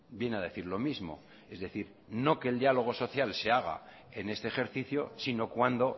viene a decir lo mismo es decir no que el diálogo social se haga en este ejercicio sino cuando